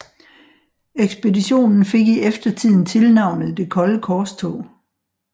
Ekspeditionen fik i eftertiden tilnavnet Det kolde korstog